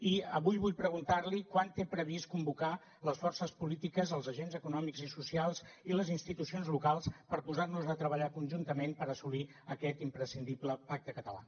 i avui vull preguntar li quan té previst convocar les forces polítiques els agents econòmics i socials i les institucions locals per posar nos a treballar conjuntament per assolir aquest imprescindible pacte català